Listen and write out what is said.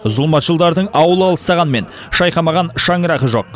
зұлмат жылдардың ауылы алыстағанымен шайқамаған шаңырағы жоқ